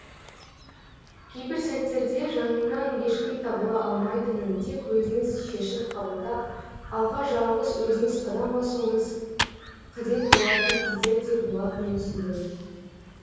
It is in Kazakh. кейбір сәттерде жаныңнан ешкім табыла алмайтынын тек өзіңіз шешім қабылдап алға жалғыз өзіңіз қадам басуыңыз қадет болатын кездер де болатынын түсіндім